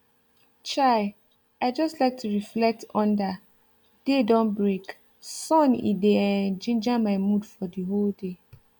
chai i just like to reflect under day don break sun it dey um ginger my mood for the whole day